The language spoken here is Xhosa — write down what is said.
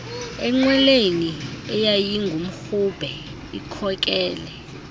enqweleni eyayingumrhubhe ikhokele